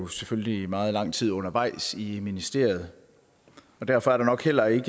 selvfølgelig meget lang tid undervejs i ministeriet og derfor er der nok heller ikke